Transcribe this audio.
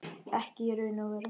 Ekki í raun og veru.